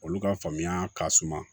Olu ka faamuya ka suma